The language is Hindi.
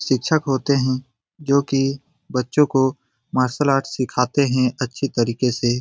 शिक्षक होते हैं जो की बच्चे को मार्शल आर्ट सिखाते है अच्छे तरीके से।